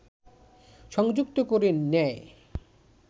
সংযুক্ত করে নেয়